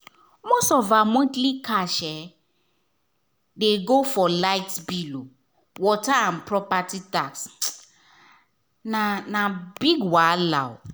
most of her monthly cash um dey go for light bill um water and property tax — na na big wahala.